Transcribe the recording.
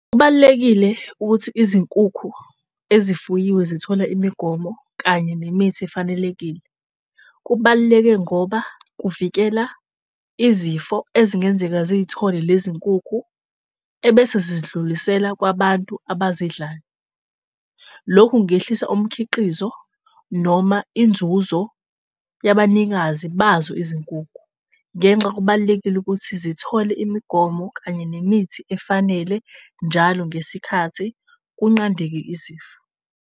Kubalulekile ukuthi izinkukhu ezifuyiwe zithole imigomo kanye nemithi efanelekile. Kubaluleke ngoba kuvikela izifo ezingenzeka ziy'thole lezi nkukhu ebese zizidlulisela kwabantu abazidlayo. Lokhu kungehlisa umkhiqizo noma inzuzo yabanikazi bazo izinkukhu ngenxa kubalulekile ukuthi zithole imigomo kanye nemithi efanele njalo ngesikhathi kunqandeke isifo.